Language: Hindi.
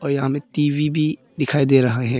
यहां मैं टी_वी भी दिखाई दे रहा है।